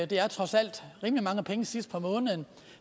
det er trods alt rimelig mange penge sidst på måneden